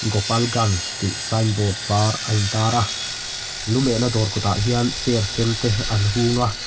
gopalganj tih sign board var a intar a lu mehna dawr kawtah hian chair sen te an hung a.